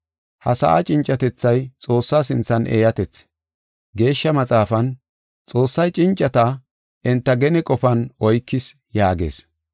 Ha sa7a cincatethay Xoossa sinthan eeyatethi. Geeshsha Maxaafan, “Xoossay cincata enta gene qofan oykees” yaagees.